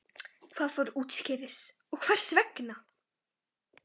Hvað fór úrskeiðis og hvers vegna?